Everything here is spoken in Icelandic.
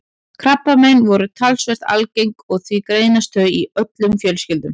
Krabbamein eru talsvert algeng og því greinast þau í öllum fjölskyldum.